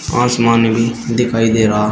आसमान भी दिखाई दे रहा--